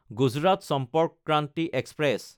Gujarat Sampark Kranti express